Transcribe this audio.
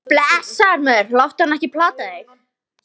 Blessaður, maður, láttu hana ekki plata þig.